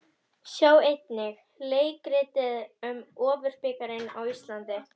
Sjá einnig: Leikið um Ofurbikarinn á Íslandi?